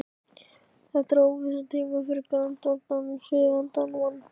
Þetta eru óvissutímar fyrir grandvaran og siðavandan mann.